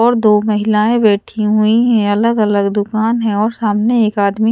और दो महिलाएं बैठी हुई है अलग अलग दुकान है और सामने एक आदमी--